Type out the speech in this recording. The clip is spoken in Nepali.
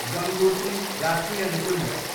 गङ्गोत्री राष्ट्रिय निकुञ्ज